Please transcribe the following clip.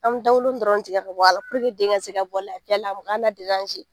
An bɛ dawolonin dɔrɔn de tigɛ ka bɔ a la den ka se ka bɔ lafiya la